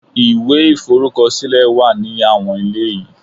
Ìwé iforukosile wa ní àwọn ilé yìí.